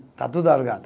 Está tudo alugado.